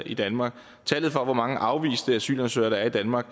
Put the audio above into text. i danmark tallet for hvor mange afviste asylansøgere der er i danmark